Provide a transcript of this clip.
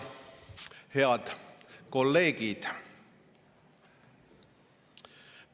Head kolleegid!